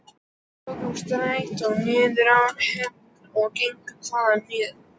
Við tókum strætó niður á Hlemm og gengum þaðan niður